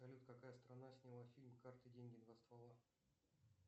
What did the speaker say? салют какая страна сняла фильм карты деньги два ствола